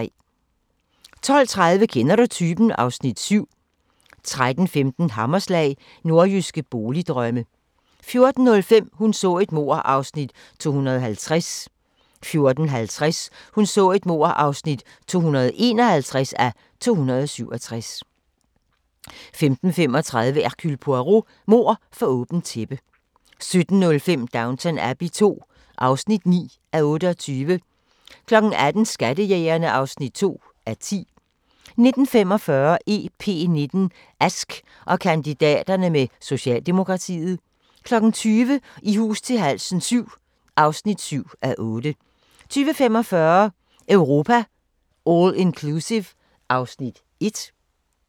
12:30: Kender du typen? (Afs. 7) 13:15: Hammerslag – Nordjyske boligdrømme 14:05: Hun så et mord (250:267) 14:50: Hun så et mord (251:267) 15:35: Hercule Poirot: Mord for åbent tæppe 17:05: Downton Abbey II (9:28) 18:00: Skattejægerne (2:10) 19:45: EP19: Ask og kandidaterne med Socialdemokratiet 20:00: I hus til halsen VII (7:8) 20:45: Europa All Inclusive (Afs. 1)